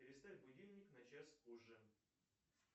переставь будильник на час позже